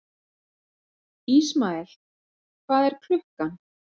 Ismael, hvað er klukkan?